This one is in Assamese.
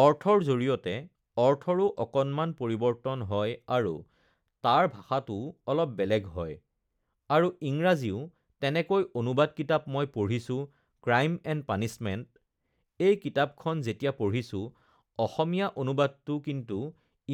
অৰ্থৰ জৰিয়তে অৰ্থৰো অকণমান পৰিবৰ্তন হয় আৰু তাৰ ভাষাটোও অলপ বেলেগ হয় আৰু ইংৰাজীও তেনেকৈ অনুবাদ কিতাপ মই পঢ়িছোঁ ক্ৰাইম এণ্ড পানিচমেণ্ট, এই কিতাপখন যেতিয়া পঢ়িছোঁ অসমীয়া অনুবাদটো কিন্তু